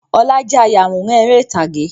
Ọlá jẹ́ ayawòrán ère ìtàgé.